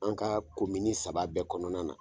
An ka saba bɛɛ kɔnɔna na